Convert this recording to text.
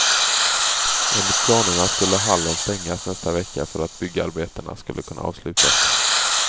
Enligt planerna skulle hallen stängas nästa vecka, för att byggarbetena skulle kunna avslutas.